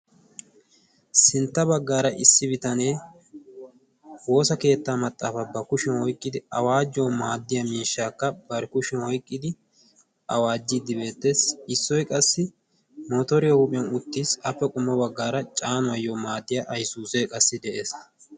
sintta baggaara issi bitanee woosa keettaa maxaafaa ba kushiyan oyqqidi awaajjuwaw maaddiya miishshaakka bari kushiyan oyqqidi awaajjiiddi beettees. issoy qassi mootooriya huuphiyan uttiis. appe qummo baggaara caanuwaayyo maaddiya aysuusee qassi de7ees.